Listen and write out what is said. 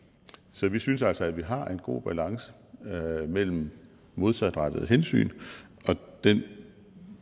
så vi synes altså at vi har en god balance mellem modsatrettede hensyn og den